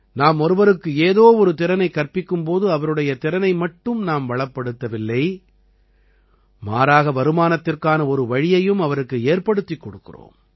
நாம் ஒருவருக்கு ஏதோ ஒரு திறனைக் கற்பிக்கும் போது அவருடைய திறனை மட்டும் நாம் வளப்படுத்தவில்லை மாறாக வருமானத்திற்கான ஒரு வழியையும் அவருக்கு ஏற்படுத்திக் கொடுக்கிறோம்